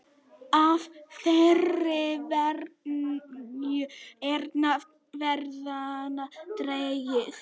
Af þeirri venju er nafn ferðanna dregið.